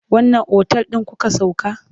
Wanne otal ɗin kuka sauka?